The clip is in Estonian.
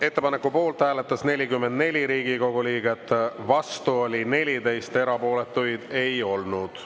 Ettepaneku poolt hääletas 44 Riigikogu liiget, vastu oli 14 ja erapooletuid ei olnud.